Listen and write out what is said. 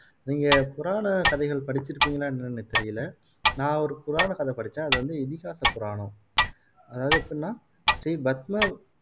நீங்க புராணக் கதைகள் படிச்சுருக்கீங்களா என்னன்னு எனக்கு தெரியல நான் ஒரு புராணக்கதை படிச்சேன் அது வந்து இதிகாச புராணம் அதாவது எப்படின்னா ஸ்ரீ பத்ம